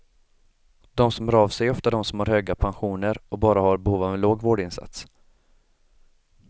De som hör av sig är ofta de som har höga pensioner och bara har behov av en låg vårdinsats.